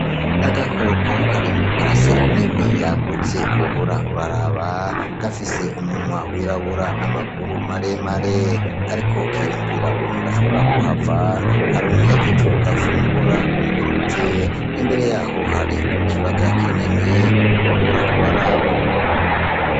Agakoko kari mw' i parasera nini yagutse wohora uraraba, gafise umwanwa wirabura n'amaguru maremare. Kariko kiyumvira ukuntu gashobora kuhava karonke ico gafungura imbere yaho hari ikiyaga kinini wohora uraraba.